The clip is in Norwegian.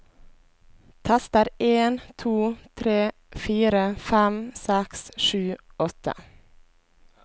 Tester en to tre fire fem seks sju åtte